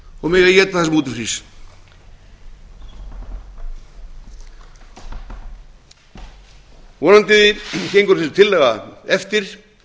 og mega éta það sem úti frýs vonandi gengur þessi tillaga eftir